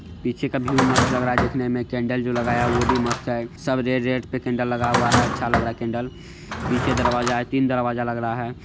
पीछे का व्यू मस्त लग रहा है देखने में केंडल जो लगाया वो भी मस्त है सब रेड - रेड पे कैंडल लगा हुआ है | अच्छा लग रहा है केंडल पीछे दरवाजा है तीन दरवाजा लग रहा है।